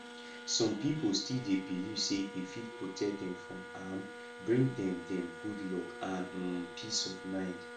some people still dey believe say e fit protect dem from harm bring dem dem good luck and um peace of mind